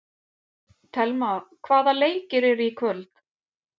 Thelma, hvaða leikir eru í kvöld?